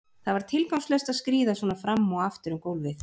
Það var tilgangslaust að skríða svona fram og aftur um gólfið.